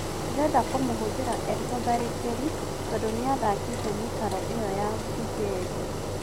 Ndĩrenda kũmũhũthĩra e-mũtharĩkĩri tondũ nĩathakĩte mĩkaro ĩyo ya Mbunjeria".